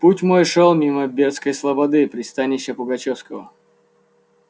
путь мой шёл мимо бердской слободы пристанища пугачёвского